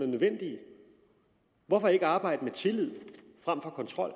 nødvendige hvorfor ikke arbejde med tillid frem for kontrol